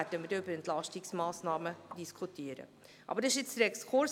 Dann werden wir über Entlastungsmassnahmen diskutieren, aber dies war ein Exkurs.